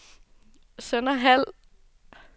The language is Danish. Sønderhald